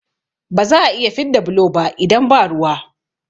Ba za'a iya fidda bulo ba idan ba ruwa